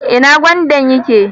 Ina gwandan yake?